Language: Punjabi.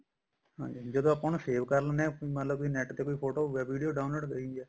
ਹਾਂਜੀ ਹਾਂਜੀ ਜਦੋਂ ਆਪਾਂ ਉਹਨੂੰ save ਕਰ ਲੈਣੇ ਹਾਂ ਮਤਲਬ net ਤੇ ਫੋਟੋ ਜਾਂ video download ਕਰੀ ਹੈ